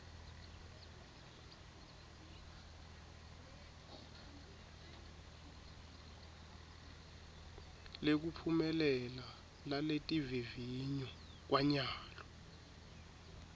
lekuphumelela laletivivinyo kwanyalo